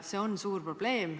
See on suur probleem.